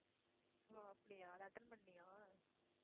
ஓ அப்படியா அத attend பண்ணியா